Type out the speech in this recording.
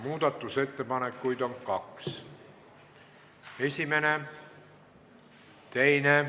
Muudatusettepanekuid on kaks: esimene, teine.